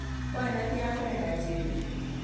Koi netian Brenda chebet